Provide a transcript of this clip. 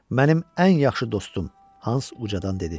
Mənim ən yaxşı dostum, Hans ucadan dedi.